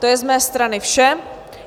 To je z mé strany vše.